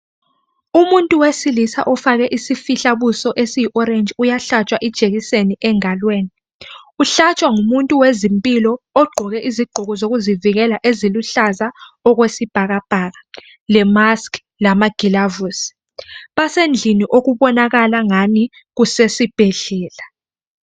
umuntu wesilisa ufake isifihlabuso esiyi orange uyahlatshwa ijekiseni engalweni uhlatshwa ngumuntu wezimpilo ogqoke izigqoko zokuzivikela eziluhlaza okwesibhakabhaka le mask lamagilavusi basendlini okubonakala angani kusesibhedlela